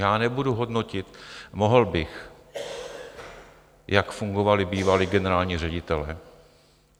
Já nebudu hodnotit, mohl bych, jak fungovali bývalí generální ředitelé.